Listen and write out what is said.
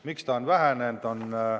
Miks see on vähenenud?